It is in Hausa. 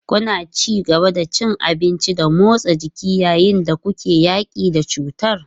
Kuna ci gaba da cin abinci da motsa jiki yayin da kuke yaƙi da cutar?